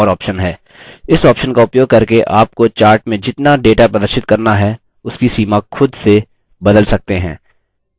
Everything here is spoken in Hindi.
इस option का उपयोग करके आपको chart में जितना data प्रदर्शित करना है उसकी सीमा खुद से बदल सकते हैं